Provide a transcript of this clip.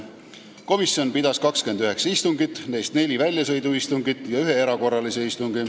Komisjon pidas 29 istungit, sh neli väljasõiduistungit ja üks erakorraline istung.